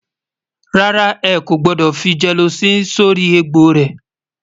rárá, ẹkọ gbódò fí jeeloci sórí ègbó rè